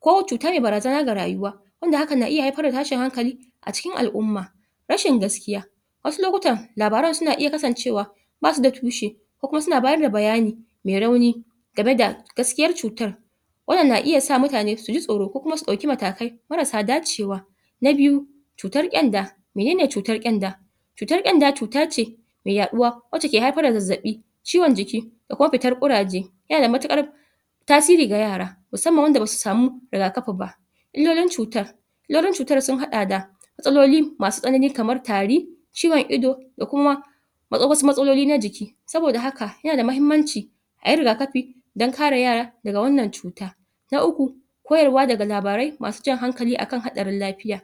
ko cuta me barazana ga rayuwa wanda hakan na iya haifar da tashin hankali a cikin al'umma rashin gaskiya wasu lokutan labaran suna iya kasancewa basu da tushe ko kuma suna bayar da bayani me rauni game da gaskiyar cutar wannan na iya sa mutane su ji tsoro ko kuma su ɗauki matakai marasa dacewa na biyu cutar ƙyanda menene cutar ƙyanda cutar ƙyanda cuta ce me yaɗuwa wace ke haifar da zazzaɓi ciwon jiki da kuma fitar ƙuraje yana da matuƙar tasiri ga yara musamman wanda basu samu rigakafi ba illolin cutar illolin cutar sun haɗa da matsaloli masu tsanani kamar tari ciwon ido da kuma wasu matsaloli na jiki saboda haka yana da mahimmanci ayi rigakafi dan kare yara daga wannan cuta na uku koyarwa daga labarai masu jan hankali akan haɗarin lafiya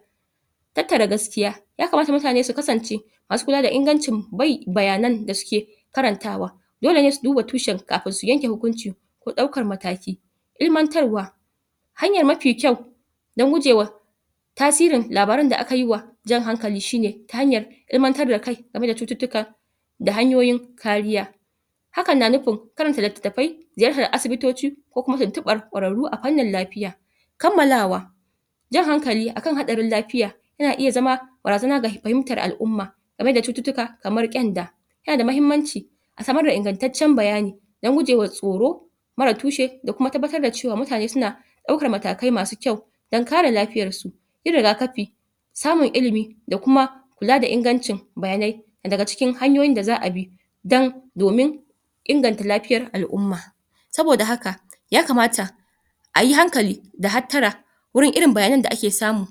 tattara gaskiya ya kamata mutane su kasance masu kula da ingancin um bayanan da suke karantawa dole ne su duba tushen kafin su yanke hukunci ko ɗaukar mataki ilmantarwa hanyar mafi kyau dan gujewa tasirin labaran da aka yi wa jan hankali shi ne ta hanyar ilmantar da kai game da cututtuka da hanyoyin kariya hakan na nufin karanta littattafai ziyartar asibitoci ko kuma tuntuɓar ƙwararru a fannin lafiya kammalawa jan hankali akan haɗarin lafiya yana iya zama barazana ga fahimtar al'umma game da cututtuka kamar ƙyanda yana da mahimmanci a samar da ingantaccen bayani dan gujewa tsoro marar tushe da kuma tabbatar da cewa mutane suna ɗaukar matakai masu kyau dan kare lafiyar su yi rigakafi samun ilimi da kuma kula da ingancin bayanai na daga cikin hanyoyin da za'a bi dan domin inganta lafiyar al'umma saboda haka ya kamata ayi hankali da hattara wurin irin bayanan da ake samu